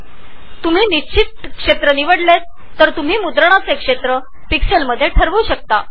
जर तुम्ही fixed region निवडले तर तुम्ही कॅप्चर रिजन पिक्सेल्समध्ये व्यक्त करु शकता